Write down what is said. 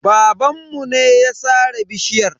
Babanmu ne ya sare bishiyar.